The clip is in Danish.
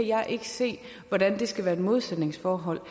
jeg kan ikke se hvordan der skal være et modsætningsforhold